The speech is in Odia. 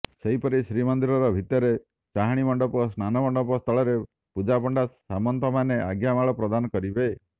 ସେହିପରି ଶ୍ରୀମନ୍ଦିର ଭିତରେ ଚାହାଁଣିମଣ୍ଡପ ଓ ସ୍ନାନମଣ୍ଡପ ସ୍ଥଳରେ ପୂଜାପଣ୍ଡା ସାମନ୍ତମାନେ ଆଜ୍ଞାମାଳ ପ୍ରଦାନ କରିବେ